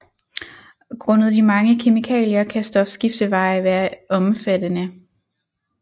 Grundet de mange kemikalier kan stofskifteveje være omfattende